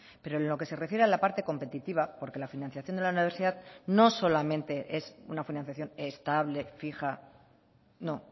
pero en lo que se refiere a la parte competitiva porque la financiación de la universidad no solamente es una financiación estable fija no